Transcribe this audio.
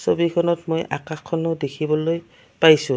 ছবিখনত মই আকাশখনো দেখিবলৈ পাইছোঁ।